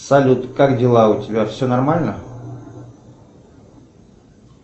салют как дела у тебя все нормально